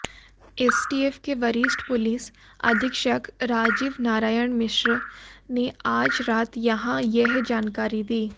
STF के वरिष्ठ police अधीक्षक राजीव नारायण मिश्र ने आज रात यहां यह जानकारी दी